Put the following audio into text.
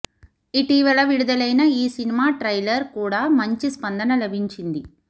ఇటీవల విడుదలైన ఈ సినిమా ట్రైలర్ కూడ మంచి స్పందన లభించింది